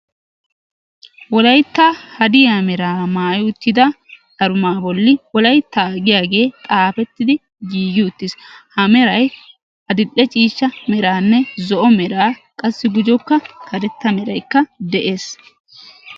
Wolaytta hadiya meraa maayi uttida wolayttaa giyagee xaafettidi giigi uttiis. Ha meray adil"e ciishsha meraa, zo'o meraanne gujuwankka karetta mwraykka de'ees.